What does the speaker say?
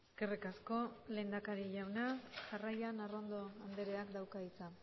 eskerrik asko lehendakari jauna jarraian arrondo andreak dauka hitza